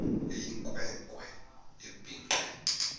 eyinkwe nkwe ebhinqe